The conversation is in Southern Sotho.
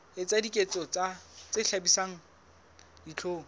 etsa diketso tse hlabisang dihlong